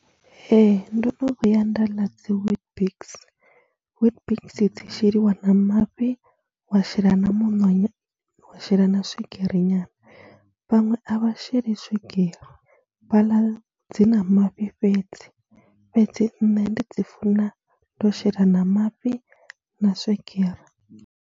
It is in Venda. Ee, ndo no vhuya nda ḽa dzi WeetBix, WeetBiks dzi sheliwa na mafhi, wa shela na muṋo nya, wa shela na swigiri nyana. Vhaṅwe a vha sheli swigiri, vha ḽa dzi na mafhi fhedzi, fhedzi nṋe ndi dzi funa ndo shela na mafhi na swigiri.